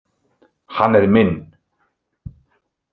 Hann er minn.